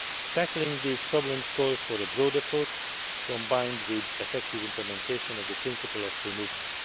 Tackling these problems calls for a broad approach, combined with effective implementation of the principle of free movement.